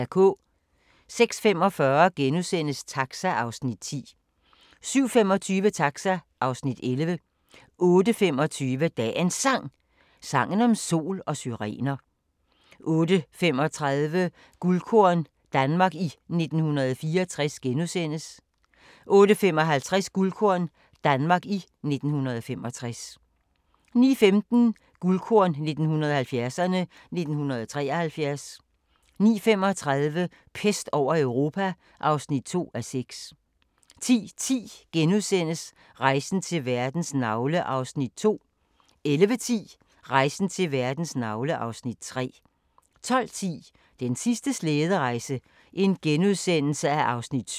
06:45: Taxa (Afs. 10)* 07:25: Taxa (Afs. 11) 08:25: Dagens Sang: Sangen om sol og syrener 08:35: Guldkorn - Danmark i 1964 * 08:55: Guldkorn - Danmark i 1965 09:15: Guldkorn 1970'erne: 1973 09:35: Pest over Europa (2:6) 10:10: Rejsen til verdens navle (Afs. 2)* 11:10: Rejsen til verdens navle (Afs. 3) 12:10: Den sidste slæderejse (7:8)*